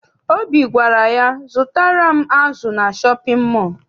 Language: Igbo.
Obi gwara ya, zụtara m azụ na shọpịn mọọ!